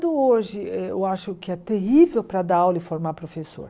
hoje, eh eu acho que é terrível para dar aula e formar professor.